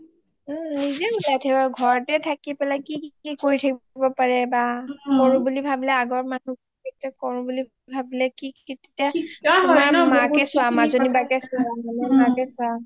নিজে উলাই ঘৰতে থাকি পেলাই কি কি কৰি থাকিব পাৰে বা কৰোঁ বুলি ভাবিলে আগৰ মানু্হ এতিয়া কৰোঁ বুলি ভাবিলে কি কেতিয়া আমাৰ মাকে চোৱা মাজনি বৌকে চোৱা